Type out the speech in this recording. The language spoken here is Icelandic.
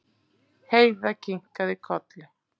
Heiða kinkaði kolli.